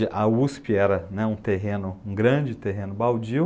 A USP era um terreno, um grande terreno, baldio.